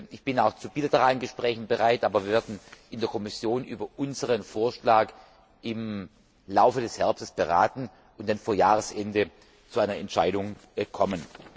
Ich bin auch zu bilateralen Gesprächen bereit, aber wir werden in der Kommission über unseren Vorschlag im Laufe des Herbstes beraten und dann vor Jahresende zu einer Entscheidung kommen.